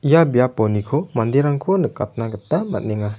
ia biaponiko manderangko nikatna gita man·enga.